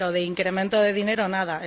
pero de incremento de dinero, nada.